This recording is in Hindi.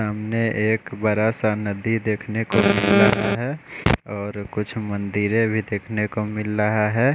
सामने एक बड़ा सा नदी देख ने को मिल रहा है और कुछ मंदिरे भी देखने को मिल रहा है।